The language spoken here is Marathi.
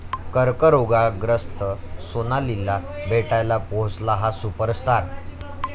कर्करोगग्रस्त सोनालीला भेटायला पोहोचला 'हा' सुपरस्टार